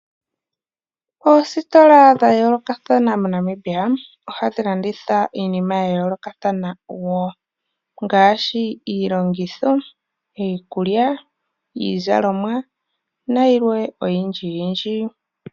Oositola dhayoolokatha mo Namibia ohadhilandithaa iinima yayoolokathana woo ngaashi: iilongitho, iikulya, iizalomwa nayilwee oyindji yindji.